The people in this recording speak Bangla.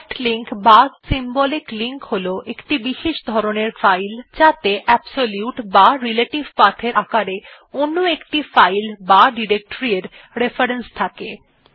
সফ্ট লিঙ্ক বা সিম্বলিক লিঙ্ক হল একটি বিশেষ ধরনের ফাইল যাত়ে অ্যাবসোলিউট বা রিলেটিভ path এর আকারে অন্য একটি ফাইল বা ডিরেকটরি এর রেফারেন্স থাকে